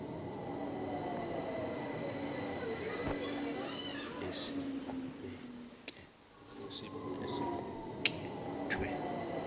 aqhathanise isamba esiqukethwe